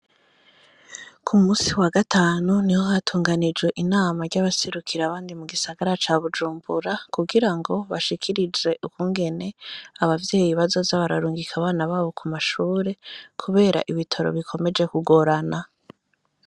Ku musi wa gatanu hari hatunganijwe inama ry'abaserukira abandi mu gisagara ca Bujumbura kugirango bashikirizwe ukungene abavyeyi bazoza bararungika abana babo ku mashuri kubera ibitabo bikomeje ku gorana.